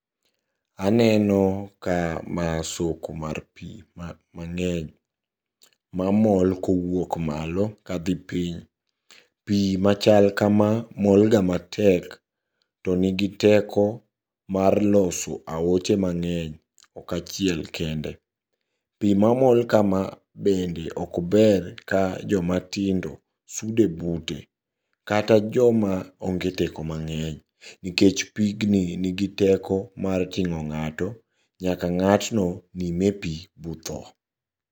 Aneno kama soko mar pii mang'eny mamol kowuok malo kadhi piny. Pii machal kama molga matek, to nigi teko mar loso aoche mang'eny ok achiel kende. Pii mamol kama bende okber ka jomatindo sude bute kata joma onge teko mang'eny, nikech pigni nigi teko mar ting'o ng'ato nyaka ng'atno nime pii botho.